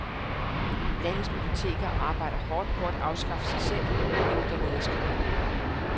Landets biblioteker arbejder hårdt på at afskaffe sig selv, hævder lederskribenten.